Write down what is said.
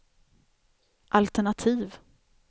altenativ